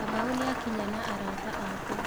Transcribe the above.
Kamau nĩakinya na arata ake.